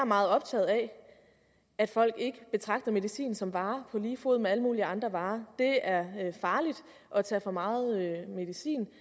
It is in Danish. meget optaget af at folk ikke betragter medicin som en vare på lige fod med alle mulige andre varer det er farligt at tage for meget medicin